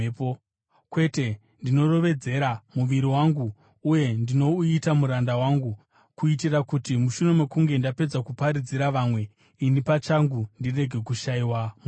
Kwete, ndinorovedzera muviri wangu uye ndinouita muranda wangu kuitira kuti mushure mokunge ndapedza kuparidzira vamwe, ini pachangu ndirege kushayiwa mubayiro.